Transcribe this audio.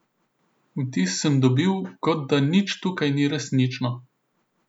Vtis sem dobil, kot da nič tukaj ni resnično.